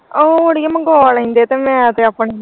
ਉਹ ਅੜੀਆਂ ਮੰਗਵਾਂ ਲੈਂਦੇ ਮੈਂ ਤੇ ਆਪਣੀ।